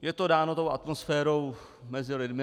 Je to dáno tou atmosférou mezi lidmi.